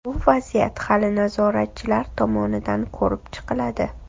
Bu vaziyat hali nazoratchilar tomonidan ko‘rib chiqiladi”.